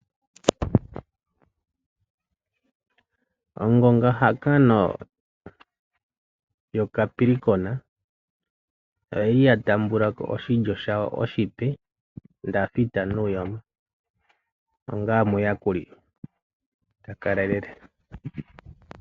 Ongonga hangano yoCapricorn oyili ya taamba ko oshilyo shayo oshipe David Nuyoma onga omuyakuli ta kalelele.